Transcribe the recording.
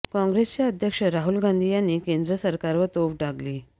काँग्रेसचे अध्यक्ष राहुल गांधी यांनी केंद्र सरकारवर तोफ डागली